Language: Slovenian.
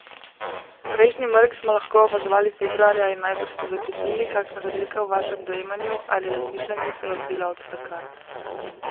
Prejšnji mrk smo lahko opazovali februarja in najbrž ste začutili, kakšna razlika v vašem dojemanju ali razmišljanju se je odvila od takrat.